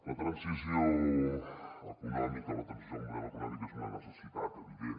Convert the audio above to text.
la transició econòmica la transició del model econòmic és una necessitat evi·dent